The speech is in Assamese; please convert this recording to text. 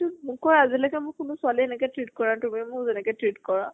তো মোক কয় আজি লৈকে মোক কোনো ছোৱালীয়ে এনেকে treat কৰা তুমি মোক যেনেকে treat কৰা।